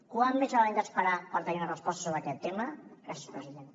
quant més haurem d’esperar per tenir una resposta sobre aquest tema gràcies president